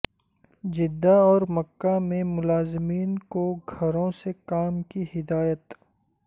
Jeddah اور مکہ میں ملازمین کو گھروں سے کام کی ہدایت